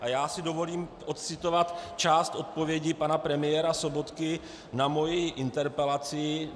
A já si dovolím odcitovat část odpovědi pana premiéra Sobotky na moji interpelaci.